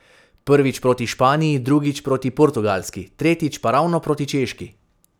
Prvič proti Španiji, drugič proti Portugalski, tretjič pa ravno proti Češki.